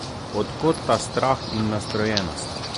Od kod ta strah in nastrojenost?